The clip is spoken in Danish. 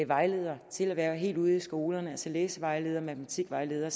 vejledere til at være helt ude i skolerne altså læsevejledere og matematikvejledere